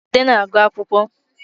Ude na-agụ akwụkwọ